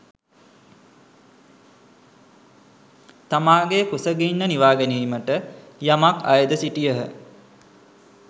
තමාගේ කුසගින්න නිවාගැනීමට යමක් අයද සිටියහ.